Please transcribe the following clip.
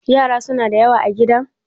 yara suna da yawa a gidan?